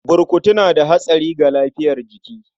Burkutu na da hatsari ga lafiyar jiki.